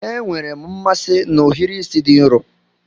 Enwere m mmasị na ohiri isi di nro